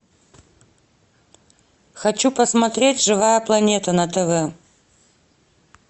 хочу посмотреть живая планета на тв